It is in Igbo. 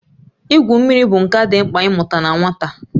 Igwu mmiri bụ nka dị mkpa ị mụta na nwata